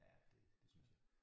Ja det synes jeg